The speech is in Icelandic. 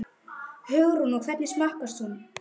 Hugrún: Og hvernig smakkast hann?